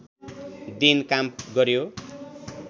दिन काम गर्‍यो